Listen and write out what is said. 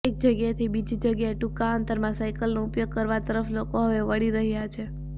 એક જગ્યાએથી બીજી જગ્યાએ ટુંકા અંતરમાં સાયકલનો ઉપયોગ કરવા તરફ લોકો હવે વળી રહ્યા છે